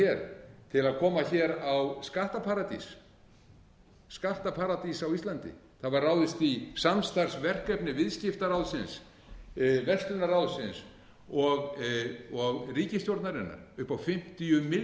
til að koma hér á skattaparadís skattaparadís á íslandi það var ráðist í samstarfsverkefni viðskiptaráðsins verslunarráðsins og ríkisstjórnarinnar upp á fimmtíu